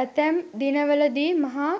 ඇතැම් දිනවලදී මහා